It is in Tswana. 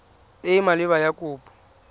e e maleba ya kopo